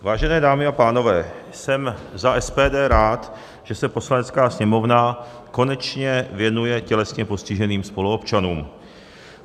Vážené dámy a pánové, jsem za SPD rád, že se Poslanecká sněmovna konečně věnuje tělesně postiženým spoluobčanům.